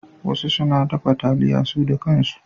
Wasu suna dafa taliya su da kan su.